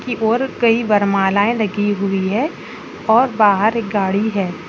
की ओर कई वरमालाए लगी हुई है और बाहर एक गाड़ी है।